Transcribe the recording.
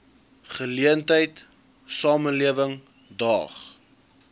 geleentheid samelewing daag